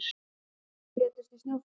Fimm létust í snjóflóðum